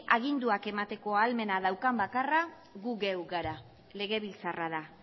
aginduak emateko ahalmena daukan bakarra gu geu gara legebiltzarra da